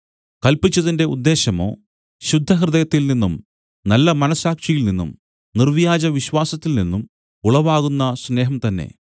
കല്പിച്ചതിന്റെ ഉദ്ദേശ്യമോ ശുദ്ധഹൃദയത്തിൽനിന്നും നല്ല മനസ്സാക്ഷിയിൽനിന്നും നിർവ്യാജവിശ്വാസത്തിൽ നിന്നും ഉളവാകുന്ന സ്നേഹം തന്നെ